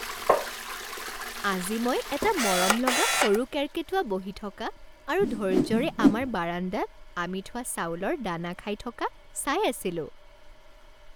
আজি মই এটা মৰমলগা সৰু কেৰ্কেটুৱা বহি থকা আৰু ধৈৰ্য্যৰে আমাৰ বাৰান্দাত আমি থোৱা চাউলৰ দানা খাই থকা চাই আছিলো।